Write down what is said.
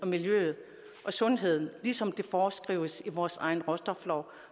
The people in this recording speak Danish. miljøet og sundheden ligesom det foreskrives i vores egen råstoflov